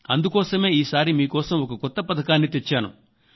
అందుకోసమే ఈ సారి మీ కోసం ఒక కొత్త పథకాన్ని తెచ్చాను